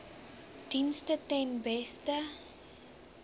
dienste ten beste